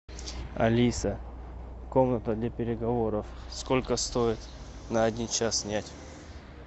алиса комната для переговоров сколько стоит на один час снять